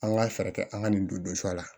An ka fɛɛrɛ kɛ an ka nin don sa la